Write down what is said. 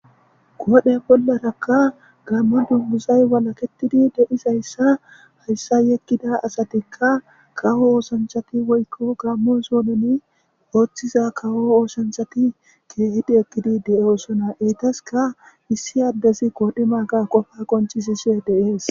goodhe bollarakka gammo dunguzay walaketidi de7izayssa hayssa yekkida asatikka kawo oosanchati woykko gammo zoononi ooththiza kawo oosanchati keehidi ekkidi de7osona eytaska issi addesi koodhi maaga qofa qonchisise deees